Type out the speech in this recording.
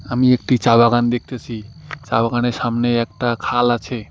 আমি একটি চা বাগান দেখতেসি চা বাগানের সামনে একটা খাল আছে।